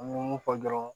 An bɛ mun fɔ dɔrɔn